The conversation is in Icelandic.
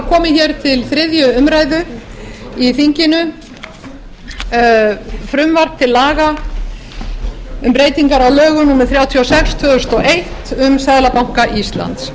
þinginu frumvarp til laga um breytingar á lögum númer þrjátíu og sex tvö þúsund og eitt um seðlabanka íslands